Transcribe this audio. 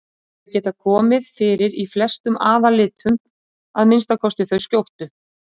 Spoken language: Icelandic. Þau geta komið fyrir í flestum aðallitum, að minnsta kosti þau skjóttu.